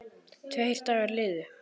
Tveir dagar liðu.